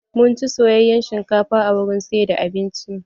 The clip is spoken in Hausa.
Mun ci soyayen shinkafa a wurin siyar da abinci.